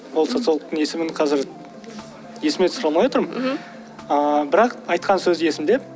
ол социологтың есімін қазір есіме түсіре алмай отырмын мхм ыыы бірақ айтқан сөзі есімде